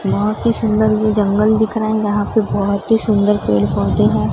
वहां की सुंदर मे जंगल दिख रहे है जहां पे बहोत ही सुंदर पेड़ पौधे हैं।